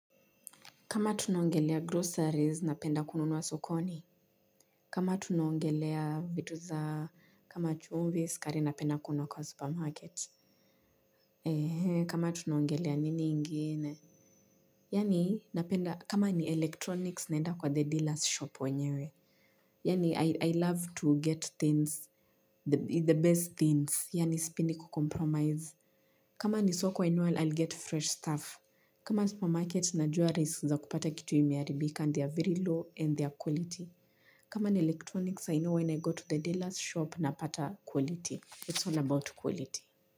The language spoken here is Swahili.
Kama tunaongelea groceries, napenda kununua sokoni. Kama tunaongelea vitu za kama chumvi, sukari napenda kununua kwa supermarket. Ehee, kama tunaongelea nini ingine? Yaani, napenda, kama ni electronics, naenda kwa the dealer's shop wenyewe. Yaani, I love to get things, the best things, yaani sipendi kucompromise. Kama ni soko I know I'll get fresh stuff. Kama supermarkets najua risks za kupata kitu imearibika they are very low and they are quality. Kama ni electronics I know when I go to the dealer's shop napata quality, it's all about quality.